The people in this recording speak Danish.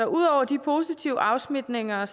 ud over de positive afsmitninger